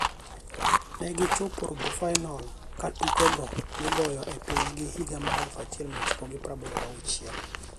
negi chopo robofainol katuke go nigoyo e pinygi higa mar 1986.